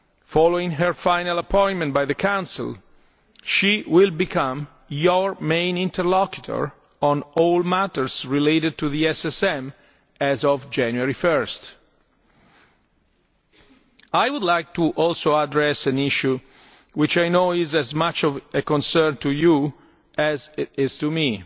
Following her final appointment by the Council, she will become your main interlocutor on all matters related to the SSM as of 1 January. I would also like to address an issue which I know is as much a concern to you as it is to